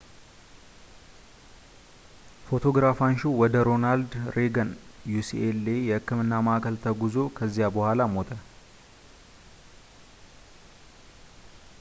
ፎቶግራፍ አንሺው ወደ ሮናልድ ሬገን ucla የሕክምና ማዕከል ተጓጉዞ ከዚያ በኋላ ሞተ